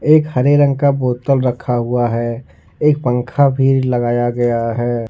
एक हरे रंग का बोतल रखा हुआ है एक पंखा भी लगाया गया है।